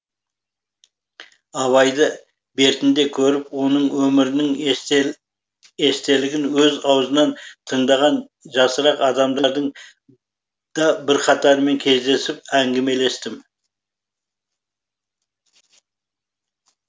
абайды бертінде көріп оның өмірінің естелігін өз аузынан тыңдаған жасырақ адамдардың да бірқатарымен кездесіп әңгімелестім